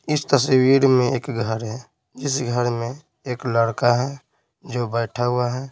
इस तस्वीर में एक घर है इस घर में एक लड़का है जो बैठा हुआ है।